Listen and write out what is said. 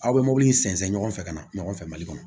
Aw bɛ mɔbili in sɛnsɛn ɲɔgɔn fɛ ka na ɲɔgɔn fɛ mali kɔnɔ